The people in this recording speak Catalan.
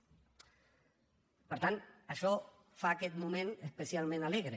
per tant això fa aquest moment especialment alegre